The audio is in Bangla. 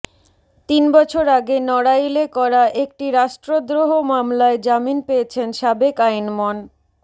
তিন বছর আগে নড়াইলে করা একটি রাষ্ট্রদ্রোহ মামলায় জামিন পেয়েছেন সাবেক আইনমন